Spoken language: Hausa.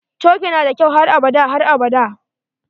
Coke nada kyau har abada har abada.